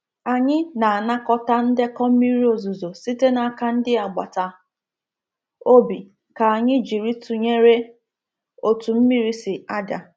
Anyị na-anakọta ndekọ mmiri ozuzo site n’aka ndị agbata obi ka anyị jiri tụnyere otú mmiri si ada.